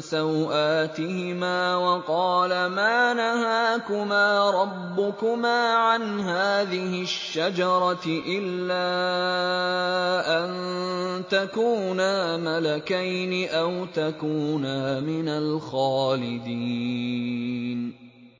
سَوْآتِهِمَا وَقَالَ مَا نَهَاكُمَا رَبُّكُمَا عَنْ هَٰذِهِ الشَّجَرَةِ إِلَّا أَن تَكُونَا مَلَكَيْنِ أَوْ تَكُونَا مِنَ الْخَالِدِينَ